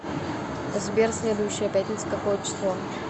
сбер следующая пятница какое число